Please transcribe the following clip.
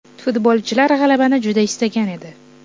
Futbolchilar g‘alabani juda istagan edi.